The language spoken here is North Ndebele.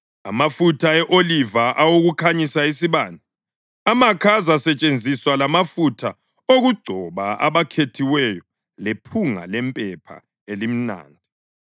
amafutha e-oliva awokukhanyisa isibane, amakha azasetshenziswa lamafutha okugcoba abakhethiweyo lephunga lempepha elimnandi,